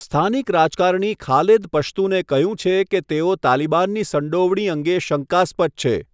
સ્થાનિક રાજકારણી ખાલેદ પશ્તુને કહ્યું છે કે તેઓ તાલિબાનની સંડોવણી અંગે શંકાસ્પદ છે.